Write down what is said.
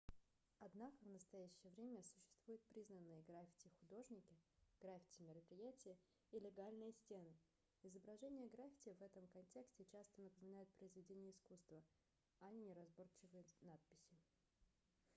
однако в настоящее время существуют признанные граффити-художники граффити-мероприятия и легальные стены изображения граффити в этом контексте часто напоминают произведения искусства а не неразборчивые надписи